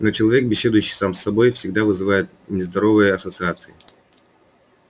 но человек беседующий сам с собой всегда вызывает нездоровые ассоциации